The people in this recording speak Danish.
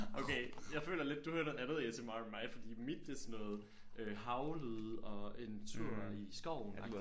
Okay jeg føler lidt du hører noget andet A S M R end mig fordi mit det er sådan noget øh havlyde og en tur i skoven